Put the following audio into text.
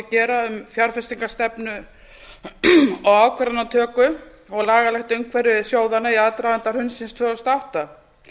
gera um fjárfestingarstefnu og ákvarðanatöku og lagalegt umhverfi sjóðanna í aðdraganda hrunsins tvö þúsund og átta